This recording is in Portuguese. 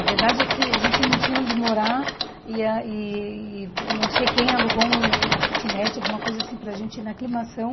A verdade é que a gente não tinha onde morar e ah e não sei quem alugou um uma kitnet, alguma coisa assim, para a gente ir na Aclimação.